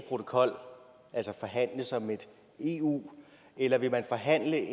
protokol altså forhandle som et eu eller vil man forhandle